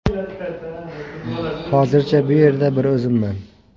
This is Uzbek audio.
Hozircha bu yerda bir o‘zimman.